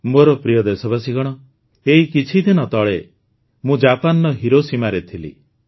ମୋର ପ୍ରିୟ ଦେଶବାସୀଗଣ ଏଇ କିଛିଦିନ ତଳେ ମୁଁ ଜାପାନର ହିରୋସୀମାରେ ଥିଲି